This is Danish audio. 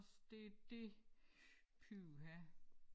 Det det pyha